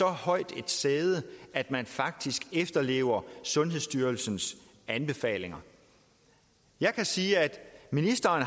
højsædet at man faktisk efterlever sundhedsstyrelsens anbefalinger jeg kan sige at ministeren